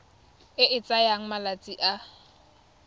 e e tsayang malatsi a